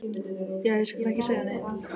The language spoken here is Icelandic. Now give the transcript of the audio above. Já, ég skal ekki segja neitt.